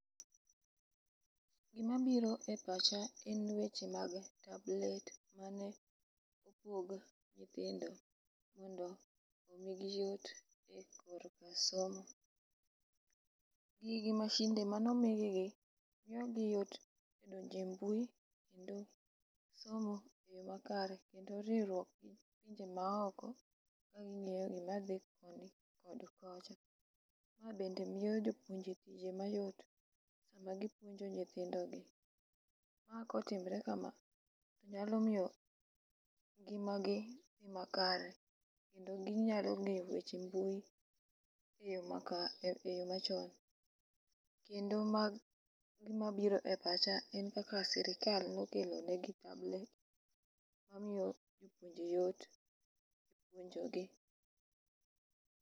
Gimabiro e pacha en weche mag [c]tablets mane opog nyithindo mondo omigi yot e korka somo. Gigi mashinde mane omigigi miyogi yot e donjo e mbui kendo somo e yo makare kendo riwruok gi ji maoko ma ing'eyo madhi koni kod kocha, ma bende miyo jopuonje tiye mayot sama gipuonjo nyithindogi. ma kotimre kama, nyalo miyo ngimagi dhi makare kendo ginyalo ng'eyo weche mbui,e yo machon, kendo ma gimabiro pacha en kaka sirikal nokelo negi tablets mamiyo ji yot,